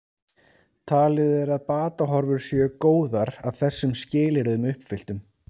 Talið er að batahorfur séu góðar að þessum skilyrðum uppfylltum.